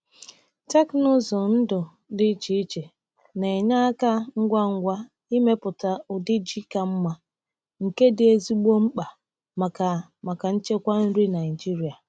Teknụzụ ndụ dị iche na-enye aka ngwa ngwa imepụta ụdị ji ka mma, nke dị ezigbo mkpa maka maka nchekwa nri Naịjịrịa.